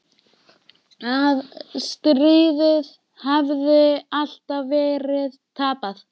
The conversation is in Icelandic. Að stríðið hafi alltaf verið tapað.